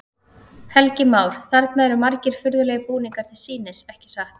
Helgi Már: Þarna eru margir furðulegir búningar til sýnis, ekki satt?